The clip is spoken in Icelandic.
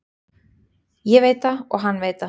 Ég veit það og hann veit það.